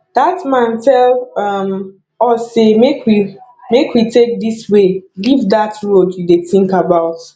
dat man tell um us say make we make we take dis way leave dat road you dey think about